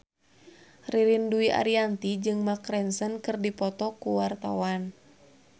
Ririn Dwi Ariyanti jeung Mark Ronson keur dipoto ku wartawan